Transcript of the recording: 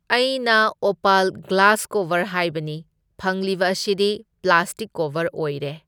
ꯑꯩꯅ opal glass cover ꯍꯥꯏꯕꯅꯤ, ꯐꯪꯂꯤꯕ ꯑꯁꯤꯗꯤ ꯄ꯭ꯂꯥꯁꯇꯤꯛ ꯀꯣꯕꯔ ꯑꯣꯏꯔꯦ꯫